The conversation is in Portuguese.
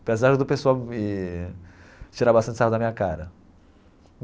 Apesar do pessoal me tirar bastante sarro da minha cara.